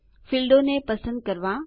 ફીલ્ડો ક્ષેત્રોને પસંદ કરવા